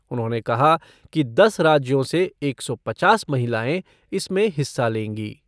उन्होंने कहा कि दस राज्यों से एक सौ पचास महिलाएं इसमें हिस्सा लेंगी।